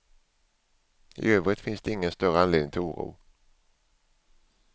I övrigt finns det ingen större anledning till oro.